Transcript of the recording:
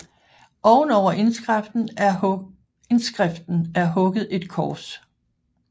Ovenover indskriften er hugget et kors